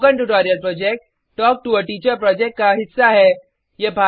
spoken tutorial project talk to a teacher project का हिस्सा है